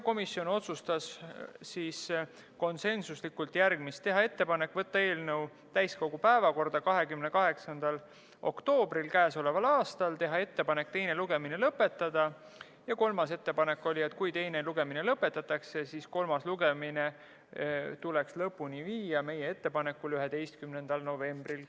Komisjon otsustas konsensuslikult järgmist: teha ettepanek võtta eelnõu täiskogu päevakorda k.a 28. oktoobriks, teha ettepanek teine lugemine lõpetada, ja kolmas ettepanek oli, et kui teine lugemine lõpetatakse, siis kolmas lugemine tuleks meie ettepanekul lõpuni viia k.a 11. novembril.